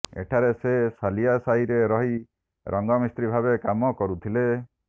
ଏଠାରେ ସେ ସାଲିଆସାହିରେ ରହି ରଙ୍ଗମିସ୍ତ୍ରି ଭାବେ କାମ କରୁଥିଲେ